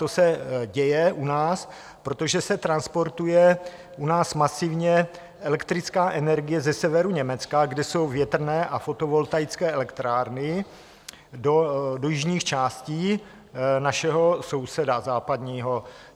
To se děje u nás, protože se transportuje u nás masivně elektrická energie ze severu Německa, kde jsou větrné a fotovoltaické elektrárny, do jižních částí našeho západního souseda.